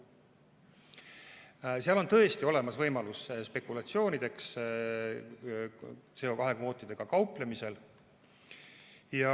CO2 kvootidega kauplemisel on tõesti olemas võimalus spekulatsioonideks.